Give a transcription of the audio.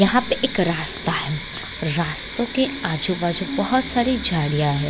यहाँ पे एक रास्ता है रास्तों के आजु-बाजु बहुत सारी झाड़ियाँ है।